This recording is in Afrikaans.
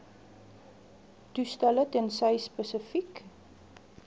toestelle tensy spesifiek